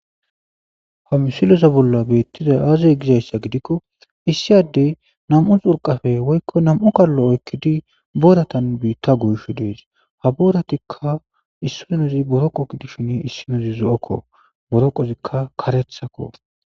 ha misiloza bolla beettixay aazey gizayssa gidikko issiy addey nam'u xurqappe woykko nam'u kaallo oykkidi booratan biitta giyishe dees ha booratikka issinoz boroqo gidishin issinozi zo'okko boroqozikka karethakko